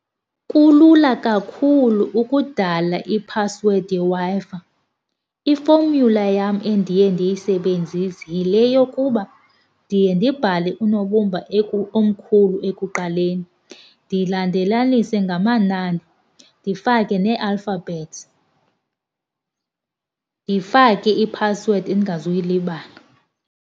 Kulula kakhulu ukudala iphasiwedi yeWi-Fi. Ifomyula yam endiye ndiyisebenzise yile yokuba ndiye ndibhale unobumba omkhulu ekuqaleni ndilandelanise ngamanani ndifake nee-alphabets. Ndifake iphasiwedi endingazuyilibala.